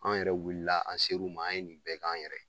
An yɛrɛ wulila an ser'u ma, an ye nin bɛɛ k'an yɛrɛ ye.